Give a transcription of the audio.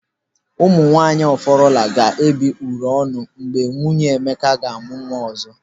Ụmụ nwaanyị Ọfọrọla ga-ebi oro ọnụ mgbe nwunye Emeka ga-amụ nwa ọzọ.